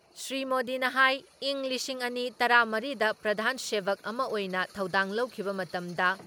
ꯁ꯭ꯔꯤ ꯃꯣꯗꯤꯅ ꯍꯥꯏ ꯏꯪ ꯂꯤꯁꯤꯡ ꯑꯅꯤ ꯇꯔꯥ ꯃꯔꯤ ꯗ ꯄ꯭ꯔꯙꯥꯟ ꯁꯦꯚꯛ ꯑꯃ ꯑꯣꯏꯅ ꯊꯧꯗꯥꯡ ꯂꯧꯈꯤꯕ ꯃꯇꯝꯗ